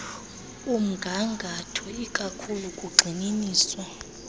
mgangatho ikakhulu kugxininisa